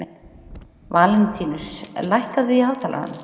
Valentínus, lækkaðu í hátalaranum.